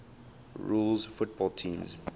rules football teams